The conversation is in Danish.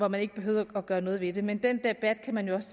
man ikke behøvede at gøre noget ved det men den debat kan man jo også